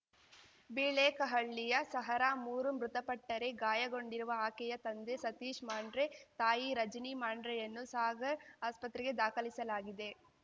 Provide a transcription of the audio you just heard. ಬಿಳೇಕಹಳ್ಳಿಯ ಸಹರಾ ಮೂರು ಮೃತಪಟ್ಟರೆ ಗಾಯಗೊಂಡಿರುವ ಆಕೆಯ ತಂದೆ ಸತೀಶ್ ಮಾಂಡ್ರೆ ತಾಯಿ ರಜಿನಿ ಮಾಂಡ್ರೆಯನ್ನು ಸಾಗರ್ ಆಸ್ಪತ್ರೆಗೆ ದಾಖಲಿಸಲಾಗಿದೆ